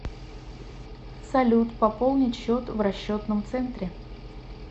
салют пополнить счет в расчетном центре